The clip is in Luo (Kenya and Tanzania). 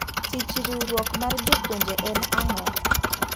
Tich riwruok mar jopuonje en ang'o?